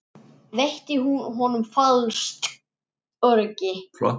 Veitti hún honum falskt öryggi?